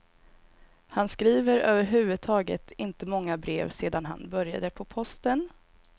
Han skriver över huvud taget inte många brev sedan han började på posten.